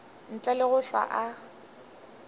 ntle le go hlwa a